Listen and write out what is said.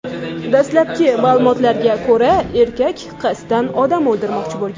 Dastlabki ma’lumotlarga ko‘ra, erkak qasddan odam o‘ldirmoqchi bo‘lgan.